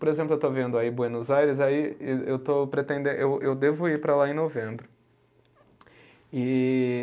Por exemplo, eu estou vendo aí Buenos Aires, aí eu estou pretenden, eu eu devo ir para lá em novembro. E